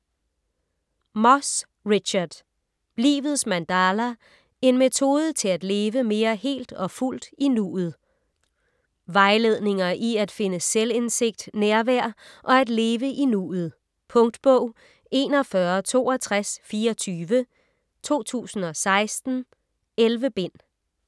Moss, Richard: Livets mandala: en metode til at leve mere helt og fuldt i nuet Vejledninger i at finde selvindsigt, nærvær og at leve i nuet. Punktbog 416224 2016. 11 bind.